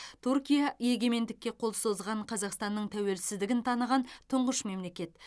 түркия егемендікке қол созған қазақстанның тәуелсіздігін таныған тұңғыш мемлекет